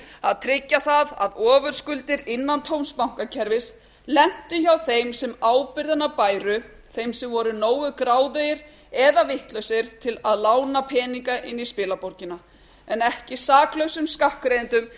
að tryggja það að ofurskuldir innantóms bankakerfis lentu hjá þeim sem ábyrgðina bæru þeim sem voru nógu gráðugir eða vitlausir til að lána peninga inn í spilaborgina en ekki saklausum skattgreiðendum